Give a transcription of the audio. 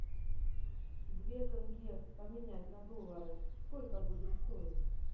две тенге поменять на доллары сколько будет стоить